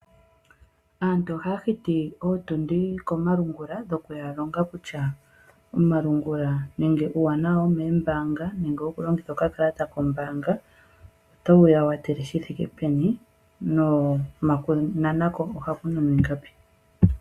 Aantu ohaya hiti ootundi komalungula dhokuya longa kutya omalungula nenge uuwanawa womoombanga nenge wokulongitha okakalata kombaanga otaku ya kwathele shi thike peni nokunana ko ohaku nanwa ingapi.